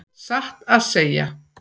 Satt að segja.